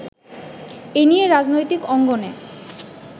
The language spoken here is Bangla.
এ নিয়ে রাজনৈতিক অঙ্গনে